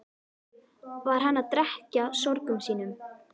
Var hann að drekkja sorgum sínum?